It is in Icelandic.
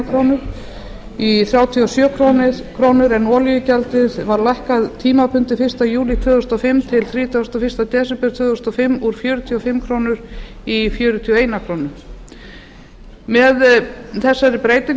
eina krónu í þrjátíu og sjö krónur en olíugjaldið var lækkað tímabundið fyrsta júlí tvö þúsund og fimm til þrítugasta og fyrsta desember tvö þúsund og fimm úr fjörutíu og fimm krónur í fjörutíu og eina krónu með þessari breytingu